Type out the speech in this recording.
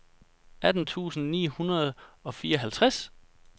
atten tusind ni hundrede og fireoghalvtreds